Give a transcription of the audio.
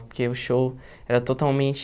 Porque o show era totalmente...